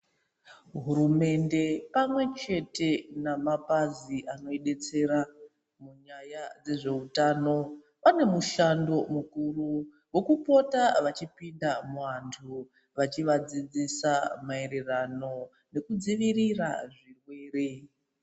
Hurumende pamwe chete namabazi anoibetsera munyaya dzezveutano pane mushando mukuru wokupota vachipinda mu antu vachivadzidzisa maererano nekudzivirira zvirwere.